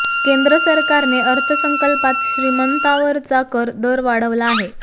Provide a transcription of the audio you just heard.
केंद्र सरकारने अर्थसंकल्पात श्रीमंतांवरचा कर दर वाढवाला आहे